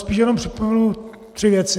Spíš jenom připomenu tři věci.